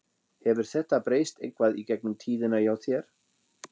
Hefur þetta breyst eitthvað í gegnum tíðina hjá þér?